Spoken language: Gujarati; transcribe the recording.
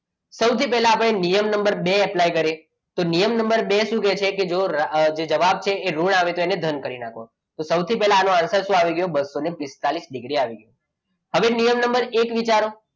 સૌથી પહેલા આપણે નિયમ નંબર બે એપ્લાય કરીએ તો નિયમ નંબર બે શું કહે છે કે જો જવાબ છે એ ઋણ આવે તો એને ધન કરી નાખવાનું તો સૌથી પહેલા આનો answer શું આવી ગયો બસો પિસ્તાળીસ ડીગ્રી આવી ગયો હવે નિયમ નંબર એક વિચારો,